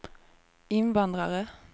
invandrare